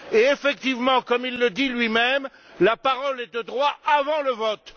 Et effectivement, comme il le dit lui même, la parole est de droit avant le vote.